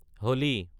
হলি